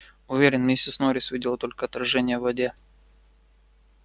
уверен миссис норрис видела только отражение в воде